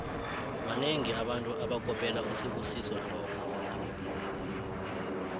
banengi abantu abakopela usibusiso dlomo